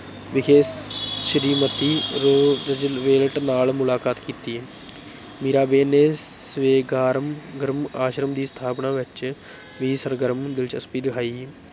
ਵਿਖੇ ਸ੍ਰੀਮਤੀ ਰੁਜ਼ਵੇਲਟ ਨਾਲ ਮੁਲਾਕਾਤ ਕੀਤੀ ਮੀਰਾਬੇਨ ਨੇ ਸਵੇਗਾਰਮ ਗਰਮ ਆਸ਼ਰਮ ਦੀ ਸਥਾਪਨਾ ਵਿੱਚ ਵੀ ਸਰਗਰਮ ਦਿਲਚਸਪੀ ਦਿਖਾਈ